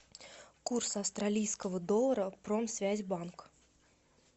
курс австралийского доллара промсвязьбанк